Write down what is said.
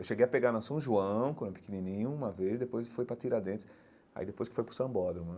Eu cheguei a pegar na São João, quando eu era pequenininho, uma vez, depois fui para Tiradentes, aí depois fui para o Sambódromo.